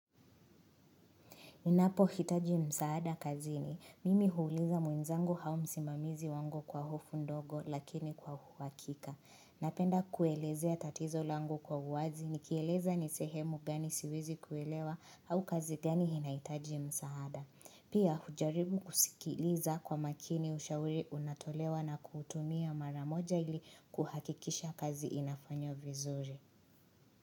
Ninapo hitaji msaada kazini mimi huuliza mwenzangu au msimamizi wangu kwa hofu ndogo lakini kwa uhakika. Napenda kuelezea tatizo langu kwa uwazi nikieleza ni sehemu gani siwezi kuelewa au kazi gani inahitaji msaada. Pia hujaribu kusikiliza kwa makini ushauri unatolewa na kutumia maramoja ili kuhakikisha kazi inafanywa vizuri.